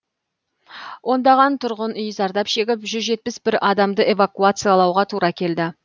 ондаған тұрғын үй зардап шегіп жүз жетпіс бір адамды эвакуациялауға тура келді